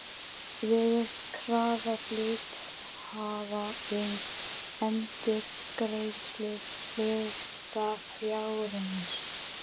verið krafa hluthafa um endurgreiðslu hlutafjárins.